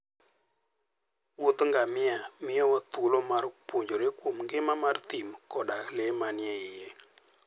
Wuodh ngamia miyowa thuolo mar puonjore kuom ngima mar thim koda le manie iye.